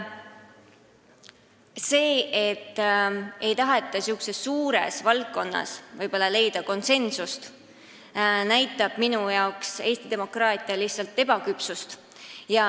See, et sellises suures valdkonnas ei taheta võib-olla konsensust leida, näitab minu jaoks lihtsalt Eesti demokraatia ebaküpsust.